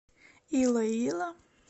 илоило